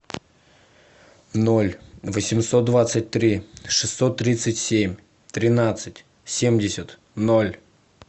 ноль восемьсот двадцать три шестьсот тридцать семь тринадцать семьдесят ноль